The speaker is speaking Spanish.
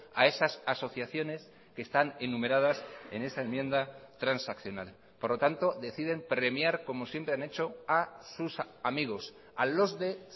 a esas asociaciones que están enumeradas en esa enmienda transaccional por lo tanto deciden premiar como siempre han hecho a sus amigos a los de